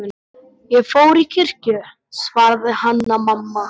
Ég fór í kirkju, svaraði Hanna-Mamma.